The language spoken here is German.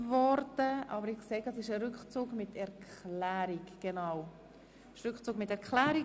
Es handelt sich um einen Rückzug mit Erklärung.